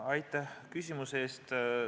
Aitäh küsimuse eest!